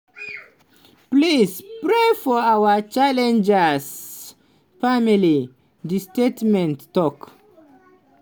"please pray for our challenger family" di statement tok.